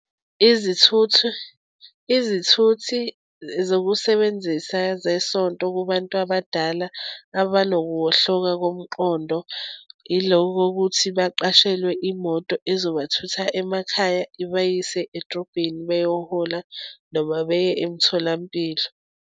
Izithuthu, izithuthi zokusebenzisa zeSonto kubantu abadala abanokuwohloka komqondo, yilo kokuthi baqeshelwe imoto ezobathutha emakhaya ibayise edrobheni, beyohola, noma beye emtholampilo.